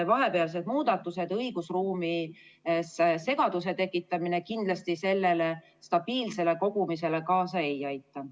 Vahepealsed muudatused ja õigusruumis segaduse tekitamine kindlasti stabiilsele kogumisele kaasa ei aita.